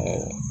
Ɛɛ